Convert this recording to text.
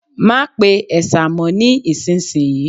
Má pe ẹ̀sà mọ ní ìsinsìnyí